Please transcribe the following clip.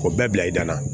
O bɛɛ bila i da la